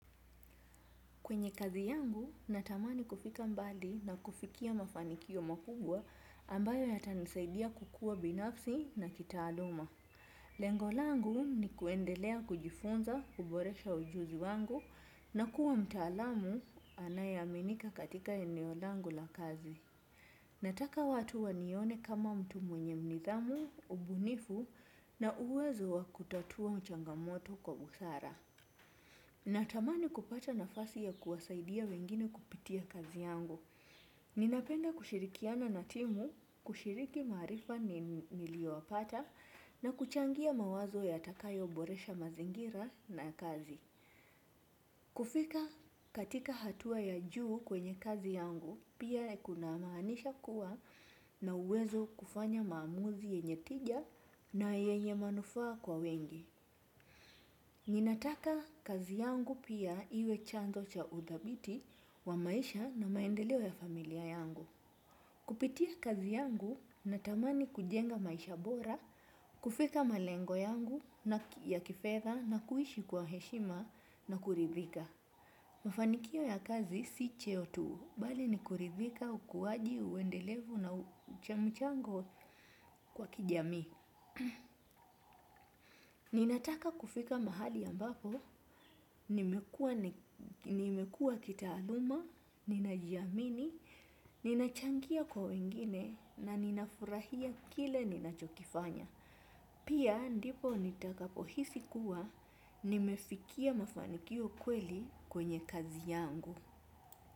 Kwenye kazi yangu, natamani kufika mbali na kufikia mafanikio makubwa ambayo yatanisaidia kukua binafsi na kitaaluma. Lengo langu ni kuendelea kujifunza, kuboresha ujuzi wangu na kuwa mtaalamu anayeaminika katika eneo langu la kazi. Nataka watu wanione kama mtu mwenye nidhamu, ubunifu na uwezo wa kutatua changamoto kwa busara. Natamani kupata nafasi ya kuwasaidia wengine kupitia kazi yangu. Ninapenda kushirikiana na timu, kushiriki maarifa niliyopata, na kuchangia mawazo yatakayo boresha mazingira na kazi. Kufika katika hatua ya juu kwenye kazi yangu, pia kunamaanisha kuwa na uwezo kufanya maamuzi yenye tija na yenye manufaa kwa wengi. Ninataka kazi yangu pia iwe chanzo cha udhabiti wa maisha na maendeleo ya familia yangu. Kupitia kazi yangu natamani kujenga maisha bora, kufika malengo yangu ya kifedha na kuishi kwa heshima na kuridhika. Mafanikio ya kazi si cheo tu, bali ni kuridhika, ukuaji, uendelevu na mchango kwa kijamii. Ninataka kufika mahali ambapo, nimekua kitaaluma, ninajiamini, ninachangia kwa wengine na ninafurahia kile ninachokifanya. Pia ndipo nitakapo hisi kuwa, nimefikia mafanikio kweli kwenye kazi yangu.